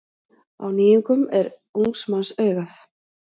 Á nýjungum er ungs manns augað.